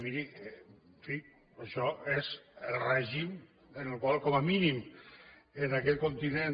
miri en fi però això és el règim en el qual com a mínim en aquest continent